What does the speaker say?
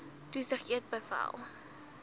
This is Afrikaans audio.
toesig eet beveel